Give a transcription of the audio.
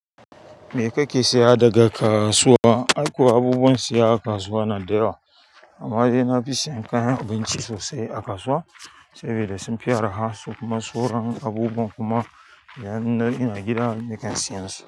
Me ka ke siya daga ka kasuwa? Ai kuwa abubuwan siya aka kasuwa ya na da yawa. Amma dai na fi sayan kayan abinci sosai a kasuwa sabida sun fi araha su kuma sauran abubuwan kuma idan dai ina gida nakan siyan su.